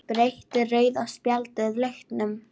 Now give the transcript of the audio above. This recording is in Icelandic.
Breytti rauða spjaldið leiknum?